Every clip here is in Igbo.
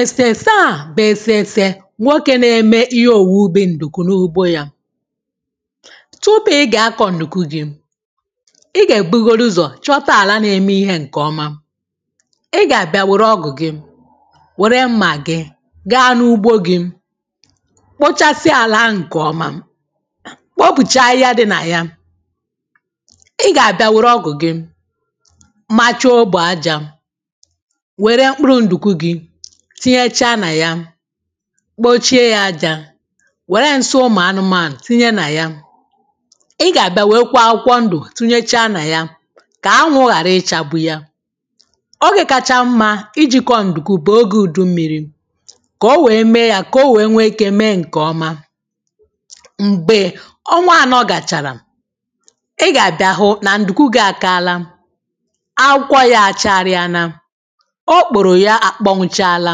èsèsè a bù èsèsè nwokē na-ẹmẹ ihe òwubi mdùkù n’ugbo ya tupu ị gà akọ̀ ǹdùku gị̄ ị gà èbugodu ụzọ̀ chọta ala na-eme ihē ǹke ọma ị gà àbịa wẹ̀rẹ ọgụ gi wère mmà gị gaa n’ugbo gị kpochasia àlà ahụ̀ ǹke ọma kpopùcha ahịhịa dị nà ya ị gà àbịa wèrè ọgụ̀ gị macha ogbè ajā wẹ̀rẹ̀ mkpụrụ ǹdụ̀ku gị tinyẹcha nà ya kpochie yā ajā wèrè ǹsị ụmụ̀ anụmanụ̀ tinyẹ naya ị gà àbịa wẹ̀rẹkwa akwụkwọ ndụ̀ tinyecha nà ya kà anwụ̄ ghàra ịchagbụ ya ogē kacha mmā ị jī ̀kọ̀ọ ǹdùku bụ oge udu mmiri kà o wee mee ya kà o wee nwẹ ike mee ǹke ọma m̀gbè ọnwa anọ gàchàrà ị gà àbịa hụụ nà ǹdùkù gị akala akwụkwọ yā a chagharịana ọkpụ̀rụ yā akpọnwụchala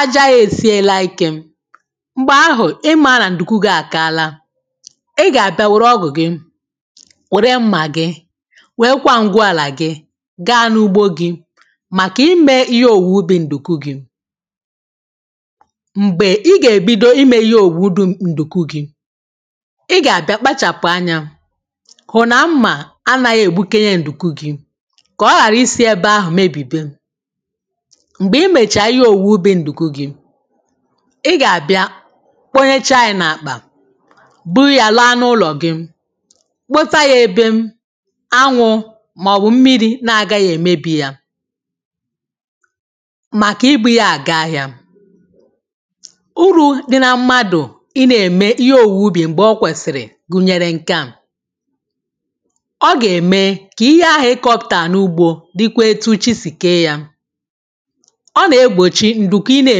aja ya esiela ike m̀gbè ahụ̀ ị mā nà ǹdùkù gị akala ị gà àbịa wèrè ọgụ̀ gị wèrè mmà gị wee kwa ngụ alà gị gaa n’ugbo gị màkà ime ihe òwùwu bụ ǹdùkù gị m̀gbè ị gà ebido ime ihe òwùwu bụ ǹdùkù gị ị gà àbịa kpachàpụ̀ anyā hụ̀ nà mmà anaghị è gbụkenye ǹdùku gị kà ọ ghàrà isī ẹbẹ ahụ̀ mebìbe m̀gbè ị mẹ̀chaa ihe òwùwu bụ ǹdùkù gị ị gà àbịa kpọnyẹcha yā n’àkpà bụrụ yā laa n’ụlọ̀ gị kpọta yā ebe anwụ̄ mà ọ̀ bụ̀ mmiri na-agaghị èmebi yā màkà ị bụ̄ ya àga ahịā urū dị na mmadù ị na eme ihe owuwu ubì m̀gbè o kwẹsịrị gụ̀nyẹ̀rẹ̀ ǹkẹ a ọ gà eme ka ihe ahụ̀ ị kọpụ̀tà n’ugbō dịkwa etu chị sì kee ya ọ nà egbòchi ǹdùku ị nā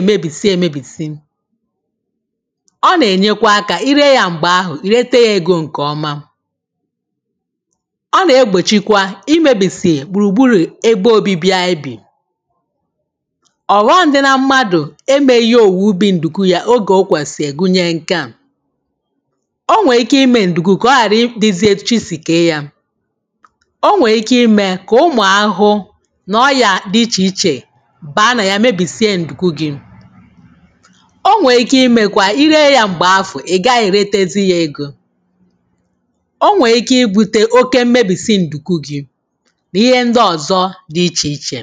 èmebìsi emebì ọ nà ènyekwa akā I ree yā m̀gbè ahụ̀ ì rete yā egō ǹkẹ̀ ọma ọ nà egbòchi kwa I mebìsì gbùrù gburù ebe anyị bì ọ̀ghọm dị nā mmadù ẹ mẹghị òwùwù bi ǹdùkù yā ogè o kwèsì gunyẹ nkẹ a ọ nwẹ̀ ike imē ǹdùkù ka ọ ghàra dịzị etu chị si kee yā ọ nwẹ̀ ike imē kà ụmụ̀ ahụhụ nà ọyà dị ichè ichè baa nà yā mebìsie ǹdùku gị ọ nwẹ̀ ike imēkwa ị ree yā m̀gbè afù ị gaghi èrètezi yā egō ọ nwẹ̀ ike ibūte oke mmèbisi ǹdùku gị̄